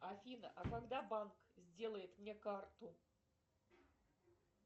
афина а когда банк сделает мне карту